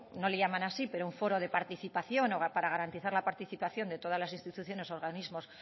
no lo llaman así pero un foro de participación para garantizar la participación de todas las instituciones organismos